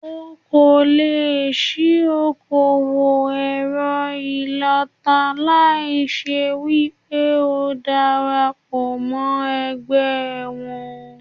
O kò lè ṣí okòwò èrọ ìlọta láì ṣe wípé o dara pọ̀ mọ́ ẹgbẹ́ wọn.